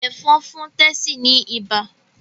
Ẹ̀fọ̀n fún Tessy ní ibà